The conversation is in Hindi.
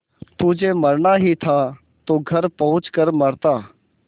तुझे मरना ही था तो घर पहुँच कर मरता